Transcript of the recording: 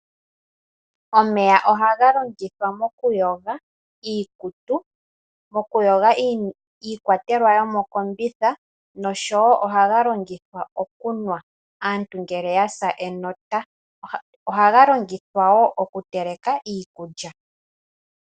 Omeya oha ga longithwa moku yoga iikutu. Moku yoga iikwatelwa yomokombitha noshowo oha ga longithwa oku nea aantu ngele yasa enota. Oha ga longithwa wo oku teleka iikulya.